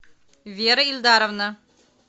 вера ильдаровна